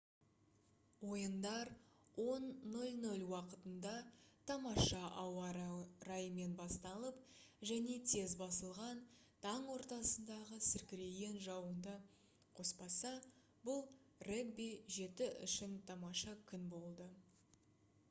ойындар 10 00 уақытында тамаша ауа-райымен басталып және тез басылған таң ортасындағы сіркіреген жауынды қоспаса бұл регби-7 үшін тамаша күн болды